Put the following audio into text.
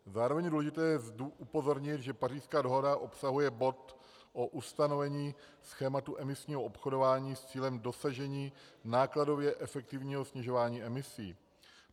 Zároveň je důležité upozornit, že Pařížská dohoda obsahuje bod o ustanovení schématu emisního obchodování s cílem dosažení nákladově efektivního snižování emisí.